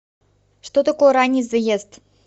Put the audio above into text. что такое ранний заезд